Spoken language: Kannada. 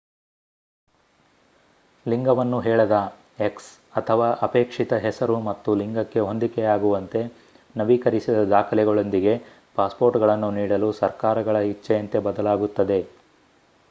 ಲಿಂಗವನ್ನು ಹೇಳದ x ಅಥವಾ ಅಪೇಕ್ಷಿತ ಹೆಸರು ಮತ್ತು ಲಿಂಗಕ್ಕೆ ಹೊಂದಿಕೆಯಾಗುವಂತೆ ನವೀಕರಿಸಿದ ದಾಖಲೆಗಳೊಂದಿಗೆ ಪಾಸ್‌ಪೋರ್ಟ್‌ಗಳನ್ನು ನೀಡಲು ಸರ್ಕಾರಗಳ ಇಚ್ಚೆಯಂತೆ ಬದಲಾಗುತ್ತದೆ